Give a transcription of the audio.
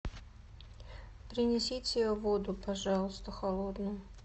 принесите воду пожалуйста холодную